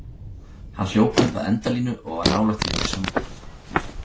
Hann hljóp upp að endalínu og var nálægt því að missa hann útaf.